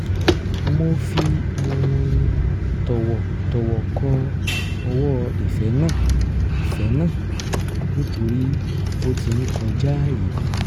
wọ́n fi um tọ̀wọ̀tọ̀wọ̀ kọ ọwọ́ ìfẹ́ náà ìfẹ́ náà nítorí ó ti ń kọjaàyè